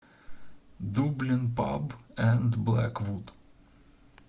дублин паб энд блэквуд